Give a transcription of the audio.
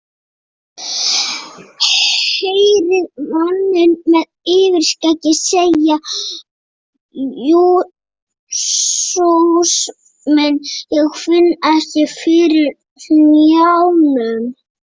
Heyrið manninn með yfirskeggið segja: Jesús minn, ég finn ekki fyrir hnjánum.